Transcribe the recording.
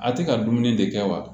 A tɛ ka dumuni de kɛ wa